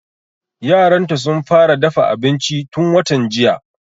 Yaran ta sun fara dafa abinci tun watan jiya